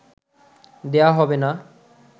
দেয়া হবে না